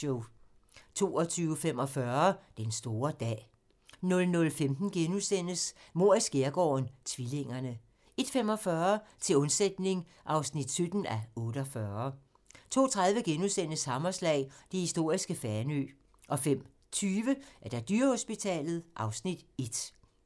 22:45: Den store dag 00:15: Mord i skærgården: Tvillingerne * 01:45: Til undsætning (17:48) 02:30: Hammerslag - det historiske Fanø * 05:20: Dyrehospitalet (Afs. 1)